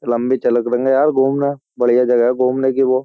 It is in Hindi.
लंबी चलक देंगे यार घूमना बढ़िया जगह है घूमने की वो।